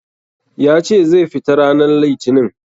Ya ce zai fita ranan litinin.